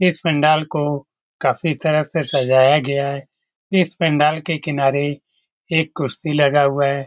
इस पंडाल को काफी तरह से सजाया गया है। इस पंडाल के किनारे एक कुर्सी लगा हुआ है।